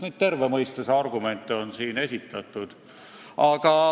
Neid terve mõistuse argumente on siin ju esitatud.